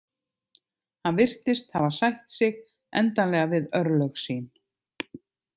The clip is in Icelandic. Hann virtist hafa sætt sig endanlega við örlög sín.